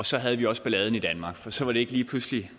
så havde vi også balladen i danmark for så var det lige pludselig